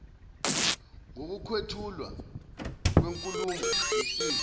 ngokwethulwa kwenkulumo besizwa